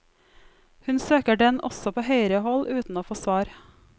Hun søker den også på høyere hold, uten å få svar.